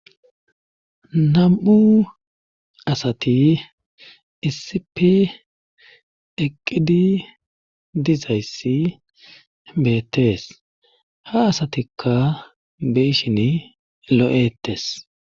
Nam'u asati issipi eqqidi dizayssi beettees ha asatikka beshin lo'etes.